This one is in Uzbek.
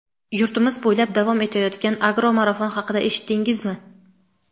Yurtimiz bo‘ylab davom etayotgan "Agro marafon" haqida eshitdingizmi?.